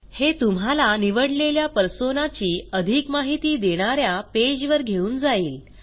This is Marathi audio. हे तुम्हाला निवडलेल्या पर्सोना ची अधिक माहिती देणा या पेजवर घेऊन जाईल